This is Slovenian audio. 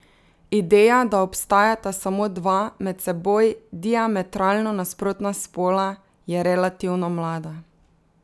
Ideja, da obstajata samo dva, med seboj diametralno nasprotna spola, je relativno mlada.